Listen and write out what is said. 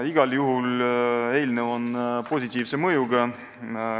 Igal juhul on eelnõu positiivse mõjuga.